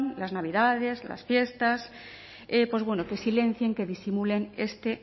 las navidades las fiestas pues bueno que silencien que disimulen este